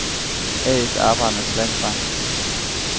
A/S Arbejdernes Landsbank